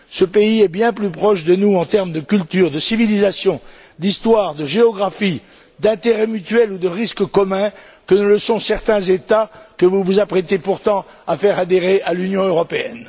Ce pays est bien plus proche de nous en termes de culture, de civilisation, d'histoire, de géographie, d'intérêts mutuels ou de risques communs que ne le sont certains États que vous vous apprêtez pourtant à faire adhérer à l'Union européenne.